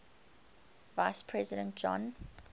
vice president john